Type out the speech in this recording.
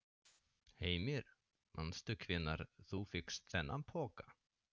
Heimir: Manstu hvenær þú fékkst þennan poka?